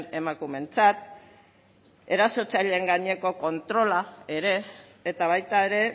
emakumeentzat erasotzaileen gaineko kontrola ere eta baita ere